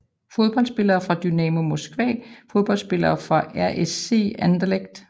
Fodboldspillere fra Dynamo Moskva Fodboldspillere fra RSC Anderlecht